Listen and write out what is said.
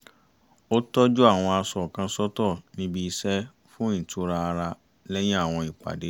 ó tọ́jú àwọn aṣọ kan sọ́tọ̀ níbi iṣẹ́ fún ìtura ara lẹ́yìn àwọn ìpàdé